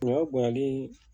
Ɲɔ bonyanlii